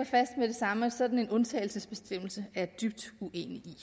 og fast med det samme at sådan en undtagelsesbestemmelse jeg dybt uenig